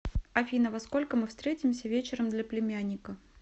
афина во сколько мы встретимся вечером для племянника